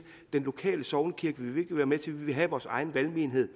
den lokale sognekirke vil vi ikke være med til vi vil have vores egen valgmenighed